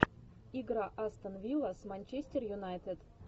игра астон вилла с манчестер юнайтед